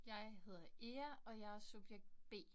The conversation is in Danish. Jeg hedder Ea, og jeg er subjekt B